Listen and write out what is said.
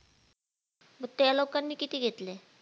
मग त्या लोकांनी किती घेतले?